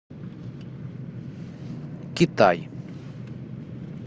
китай